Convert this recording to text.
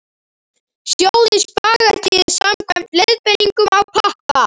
Sjóðið spagettíið samkvæmt leiðbeiningum á pakka.